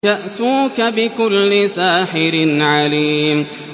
يَأْتُوكَ بِكُلِّ سَاحِرٍ عَلِيمٍ